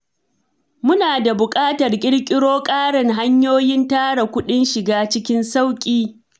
Muna da buƙatar ƙirƙiro ƙarin hanyoyin tara kuɗin shiga cikin sauƙi.